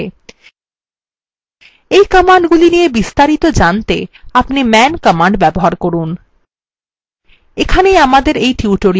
এই commandগুলি নিয়ে বিস্তারিত জানতে আপনি man command ব্যবহার করুন